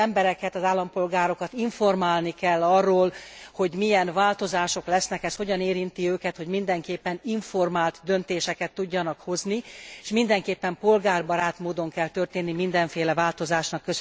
Az embereket, az állampolgárokat informálni kell arról, hogy milyen változások lesznek, ez hogyan érinti őket, hogy mindenképpen informált döntéseket tudjanak hozni, és mindenképpen polgárbarát módon kell történni mindenféle változásnak.